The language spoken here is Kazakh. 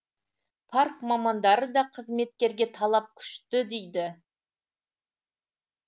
парк мамандары да қызметкерге талап күшті дейді